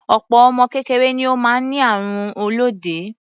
Opo ọmọ kékeré ni ó máa ń ní àrùn olóde.